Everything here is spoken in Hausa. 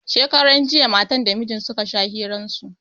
Shekaran jiya matan da mijin suka sha hiran su